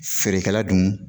Feerekɛla dun